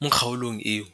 mo kgaolong eo.